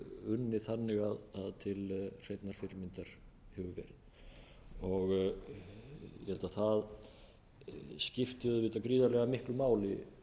unnið þannig að til hreinnar fyrirmyndar hefur verið ég held að það skipti auðvitað gríðarlega miklu máli